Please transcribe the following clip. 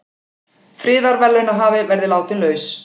Friðarverðlaunahafi verði látinn laus